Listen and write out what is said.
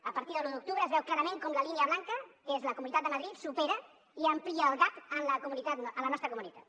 a partir de l’un d’octubre es veu clarament com la línia blanca que és la comunitat de madrid supera i amplia el gap amb la nostra comunitat